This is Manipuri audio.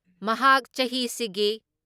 ꯃꯍꯥꯛ ꯆꯍꯤꯁꯤꯒꯤ